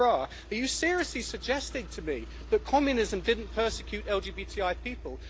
Mr Krah, are you seriously suggesting to me that communism didn't persecute LGBTI people?